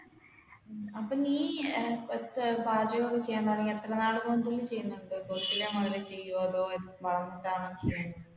അപ്പൊ നീ